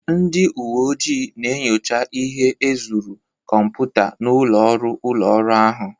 Ndị uwe ojii na-enyocha ihe ezuru kọmputa n'ụlọ ọrụ ụlọ ọrụ ahụ